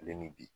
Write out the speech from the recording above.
Ale ni bi